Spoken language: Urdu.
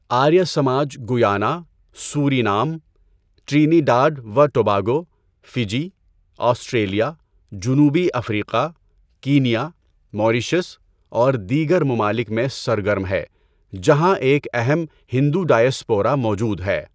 Arya Samaj Guyana, Suriname, Trinidad و ٹوباگو، فجی، آسٹریلیا، جنوبی افریقہ، کینیا، موریشس اور دیگر ممالک میں سرگرم ہے جہاں ایک اہم ہندو ڈایاسپورا موجود ہے۔